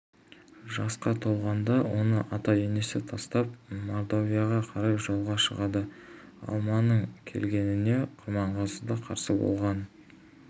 жасқа толғанда оны ата-енесіне тастап мордовияға қарай жолға шығады алманың келгеніне құрманғазы да қарсы болған